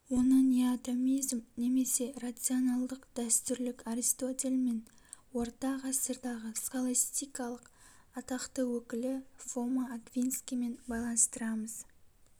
оны неотомизм немесе рационалдық дәстүрлік аристотель мен орта ғасырдағы схолостикалық атақты өкілі фома аквинскиймен байланыстырамыз